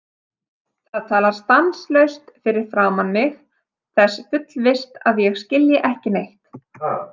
Það talar stanslaust fyrir framan mig þess fullvisst að ég skilji ekki neitt.